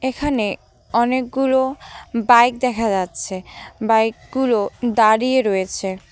এখানে অনেকগুলো বাইক দেখা যাচ্ছে বাইক -গুলো দাঁড়িয়ে রয়েছে।।